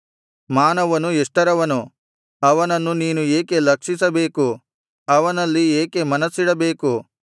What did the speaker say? ಮಾನವನು ಎಷ್ಟರವನು ಅವನನ್ನು ನೀನು ಏಕೆ ಲಕ್ಷಿಸಬೇಕು ಅವನಲ್ಲಿ ಏಕೆ ಮನಸ್ಸಿಡಬೇಕು